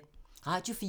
Radio 4